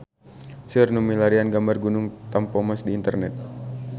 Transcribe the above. Seueur nu milarian gambar Gunung Tampomas di internet